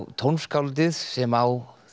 tónskáldið sem á